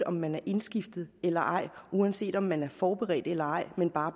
om man er indskiftet eller ej uanset om man er forberedt eller ej men bare